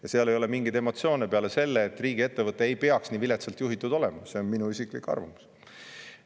Ja seal ei ole mingeid emotsioone peale selle, et riigiettevõte ei peaks nii viletsalt juhitud olema – see on minu isiklik arvamus.